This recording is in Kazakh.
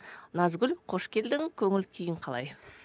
назгүл қош келдің көңіл күйің қалай